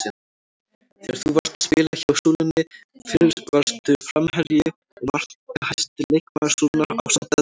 Þegar þú varst að spila hjá Súlunni varstu framherji og markahæsti leikmaður Súlunnar ásamt öðrum?